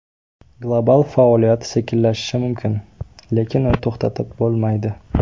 Global faoliyat sekinlashishi mumkin, lekin uni to‘xtatib bo‘lmaydi.